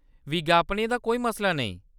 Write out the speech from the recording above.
विज्ञापनें दा कोई मसला नेईं।